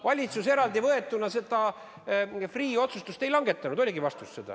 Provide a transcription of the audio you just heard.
Valitsus eraldi võetuna seda Freeh' otsust ei langetanud, see oligi vastus.